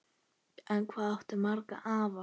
En hvað áttu marga afa?